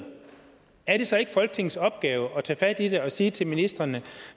er det så ikke folketingets opgave at tage fat i det og sige til ministrene at